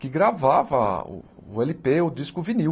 Que gravava o éle pê, o disco vinil.